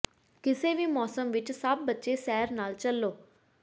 ਕਿਸੇ ਵੀ ਮੌਸਮ ਵਿਚ ਸਭ ਬੱਚੇ ਸੈਰ ਨਾਲ ਚੱਲੋ